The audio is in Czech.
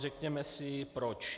Řekněme si proč.